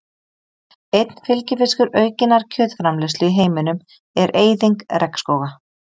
Einn fylgifiskur aukinnar kjötframleiðslu í heiminum er eyðing regnskóga.